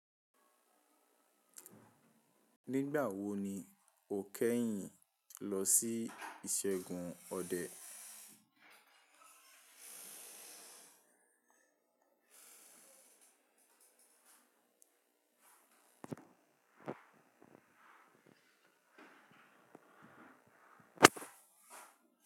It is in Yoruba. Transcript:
Nígbà wo ni o kẹ́yìn lọ sí ìṣẹ́gun ọdẹ?